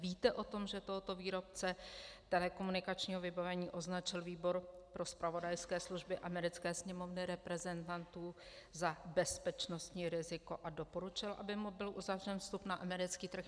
Víte o tom, že tohoto výrobce telekomunikačního vybavení označil Výbor pro zpravodajské služby americké Sněmovny reprezentantů za bezpečnostní riziko a doporučil, aby mu byl uzavřen vstup na americký trh?